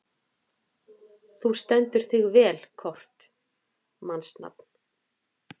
Þú stendur þig vel, Kort (mannsnafn)!